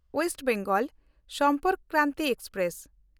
West Bengal Sampark Kranti express